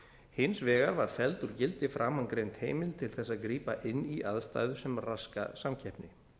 hins vegar var felld úr gildi framangreind heimild til þess að grípa inn í aðstæður sem raska samkeppni